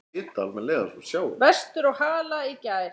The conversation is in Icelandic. Vestur á Hala í gær.